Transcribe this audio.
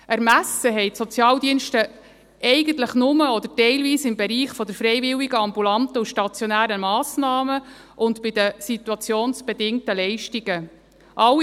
Im Ermessen der Sozialdienste ist eigentlich nur, oder teilweise, der Bereich der freiwilligen ambulanten und stationären Massnahmen und die Situationsbedingten Leistungen.